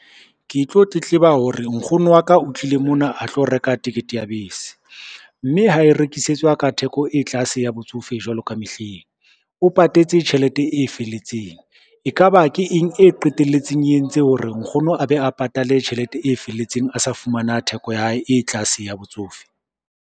Ke tlo tletleba hore nkgono wa ka o tlile mona a tlo reka tekete ya bese, mme ha e rekisetswa ka theko e tlase ya botsofe jwalo ka mehleng. O patetse tjhelete e felletseng, e ka ba ke eng e qetelletseng e entse hore nkgono a be a patale tjhelete e felletseng a sa fumana theko ya hae e tlase ya botsofe.